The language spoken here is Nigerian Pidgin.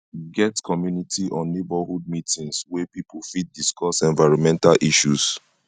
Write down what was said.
get community or neigbourhood meetings wey pipo fit discuss environmental issues